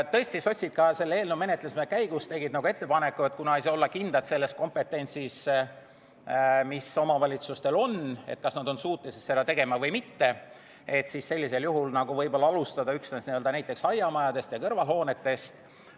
Tõesti, sotsid tegid ka selle eelnõu menetlemise käigus ettepaneku, et kuna ei saa olla kindel selles kompetentsis, mis omavalitsustel on, kas nad on suutelised seda tegema või mitte, siis võib-olla võiks alustada üksnes näiteks aiamajadest ja kõrvalhoonetest.